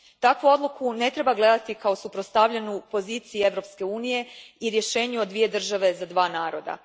Takvu odluku ne treba gledati kao suprostavljenu poziciji Europske unije i rješenju o dvije države za dva naroda.